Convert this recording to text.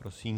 Prosím.